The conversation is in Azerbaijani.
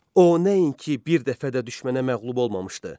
O nəinki bir dəfə də düşmənə məğlub olmamışdı.